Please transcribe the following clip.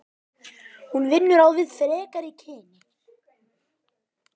Hún vinnur á við frekari kynni.